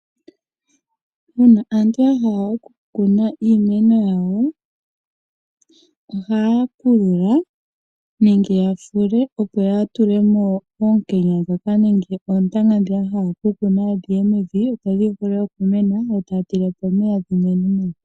Uuna aantu yahala okukuna iimeno yawo ohaya pulula nenge yafule, opo yatulemo oonkenya ndhoka nenge oontanga ndhi yahala okukuna dhiye mevi dho dhi vule okumena yo taya tile po omeya dhimene nawa.